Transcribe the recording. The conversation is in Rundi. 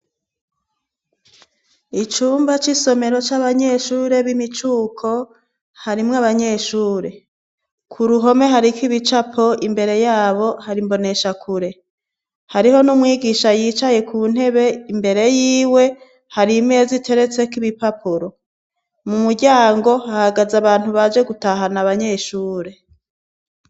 Icumba c'isomero c'abanyeshure b'imicuko harimwo abanyeshure ku ruhome hariko ibicapo imbere yabo harimbonesha kure hariho n'umwigisha yicaye ku ntebe imbere yiwe hari imezi iteretseko ibipapuro mu muryango hahagaze abantu baje gutahana abanyeshure.